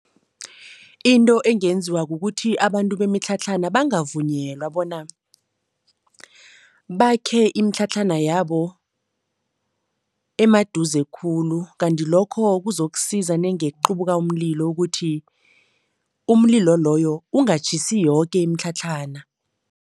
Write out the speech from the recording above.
Into engenziwa kukuthi abantu bemitlhatlhana bangavunyelwa bona bakhe imitlhatlhana yabo emaduze khulu kanti lokho kuzokusiza nenge kuqubuka umlilo ukuthi, umlilo loyo ungatjhisi yoke imitlhatlhana.